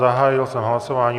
Zahájil jsem hlasování.